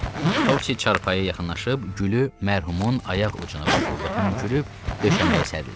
Topsis çarpayıya yaxınlaşıb gülü mərhumun ayaq ucuna qoydu və hönkürüb döşəməyə sərildi.